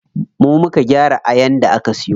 Mu muka gyara ayan da aka siyo.